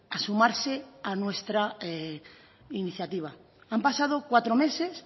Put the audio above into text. a sumarse a nuestra iniciativa han pasado cuatro meses